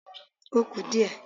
Ó kù díẹ̀